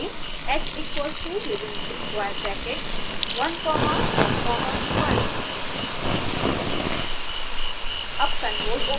फिर टाइप करें h equals to within square bracket one comma one comma one